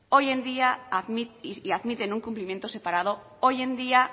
y admiten un cumplimiento separado hoy en día